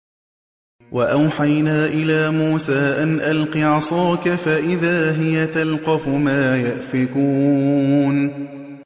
۞ وَأَوْحَيْنَا إِلَىٰ مُوسَىٰ أَنْ أَلْقِ عَصَاكَ ۖ فَإِذَا هِيَ تَلْقَفُ مَا يَأْفِكُونَ